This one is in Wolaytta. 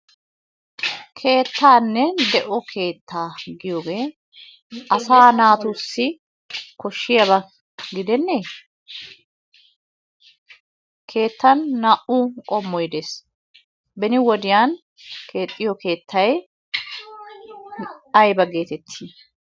Keettaa de'o Keettaa giyogee asaa naatussi koshshiyaba gidenne? Keettan naa"u qommoy de'ees. Beni wodiyan keexxiyo keettay ayba gettetti?